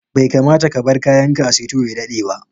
Bai kamata ka bar kayan ka a sito ya daɗa ba